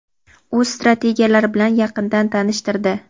o‘z strategiyalari bilan yaqindan tanishtirdi.